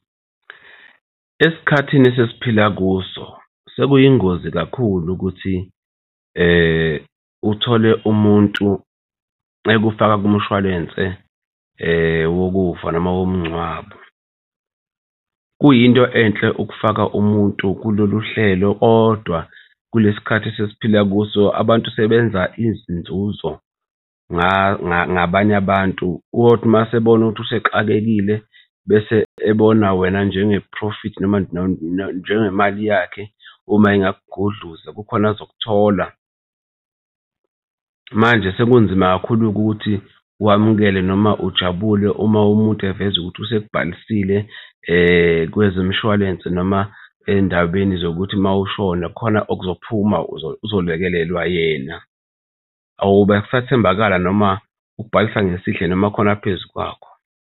Esikhathini esesiphila kuso, sekuyingozi kakhulu ukuthi uthole umuntu ekufaka kumshwalense wokufa noma womngcwabo. Kuyinto enhle ukufaka umuntu kulolu hlelo kodwa kulesi khathi esesiphila kuso abantu sebenza izinzuzo ngabanye abantu, kothi uma esebona ukuthi usexakekile bese ebona wena njenge-profit noma njengemali yakhe uma engakugudluza kukhona azokuthola. Manje sekunzima kakhulu-ke ukuthi wamukele noma ujabule uma umuntu eveza ukuthi usekubhalisile kwezemishwalense noma endabeni zokuthi uma ushona khona okuzophuma kuzolekelelwa yena. Awube sathembakala noma ukubhalisa ngesihle noma khona aphezu kwakho.